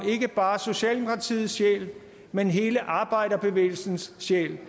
socialdemokratiets sjæl men hele arbejderbevægelsens sjæl de